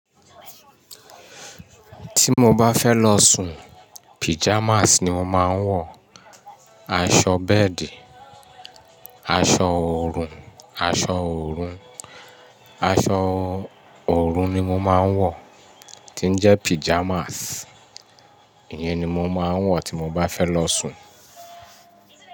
Tí mo bá fẹ́ lọ sùn, pajamas ni mo máa ń wọ̀, aṣọ bẹ́ẹ̀dì, aṣọ orun, aṣọ orun, aṣọ orun ni mo máa ń wọ̀ tí ń jẹ́ pajamas. Ìyẹn ni mo máa ń wọ̀ tí mo bá fẹ́ lọ sùn.